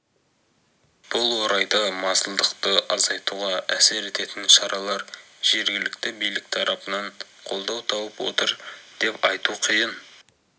бұл орайда масылдықты азайтуға әсер ететін шаралар жергілікті билік тарапынан қолдау тауып отыр деп айту қиын